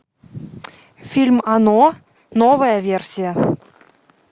фильм оно новая версия